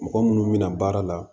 Mɔgɔ munnu bɛna baara la